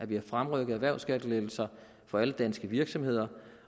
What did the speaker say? vi har fremrykket erhvervsskattelettelser for alle danske virksomheder